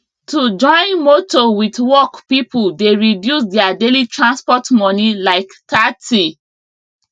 to join motor wit work people dey reduce their daily transport money like 30